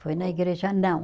Foi na igreja, não.